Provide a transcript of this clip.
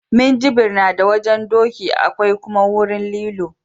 Minjibir na da wajen doki akwai kuma wurin lilo